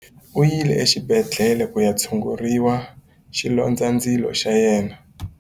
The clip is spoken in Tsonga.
U yile exibedhlele ku ya tshungurisa xilondzandzilo xa yena.